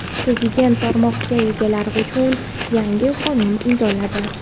Prezident tomorqa egalari uchun yangi qonun imzoladi.